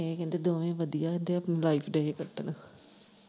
ਇਹ ਕਹਿੰਦੇ ਦੋਵੇਂ ਵਧੀਆ ਵਧੀਆ ਲਾਈਫ ਦੇ ਹੇ ਕੱਟਣ।